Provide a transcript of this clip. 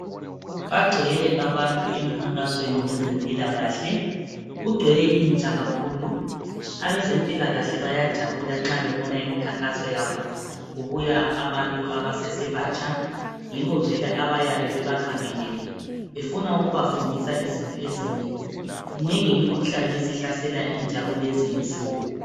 Bagcwele abantu emkhankasweni wezempilakahle kugcwele intsha kakhulu abezempilakahle bayajabula nxa bebona imkhankaso yabo kubuya abantu asesebatsha yibo vele abayabe bebakhangelele befuna ukubafundisa izinto ezinengi minengi imikhuhlani esihlasela intsha kulezi insuku.